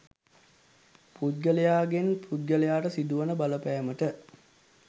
පුද්ගලයාගෙන් පුද්ගලයාට සිදුවන බලපෑමට